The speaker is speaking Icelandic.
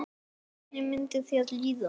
Hvernig myndi þér líða?